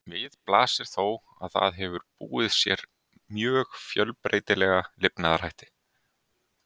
Við blasir þó að það hefur búið sér mjög fjölbreytilega lifnaðarhætti.